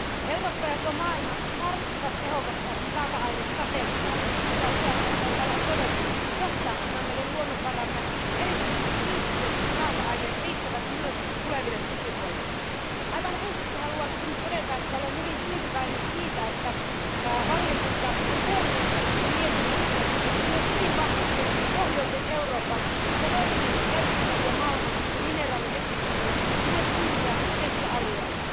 Eurooppa ja koko maailma tarvitsevat tehokasta raaka ainestrategiaa, mikä useaan kertaan täällä on todettu, jotta meidän luonnonvaramme ja erityisesti kriittiset raaka aineet riittävät myös tuleville sukupolville. Aivan ensiksi haluan todeta, että olen hyvin tyytyväinen siihen, että valiokunta on huomioinut tässä mietinnössä myös hyvin vahvasti pohjoisen Euroopan, josta löytyy merkittäviä malmi ja mineraaliesiintymiä sekä suuria metsäalueita.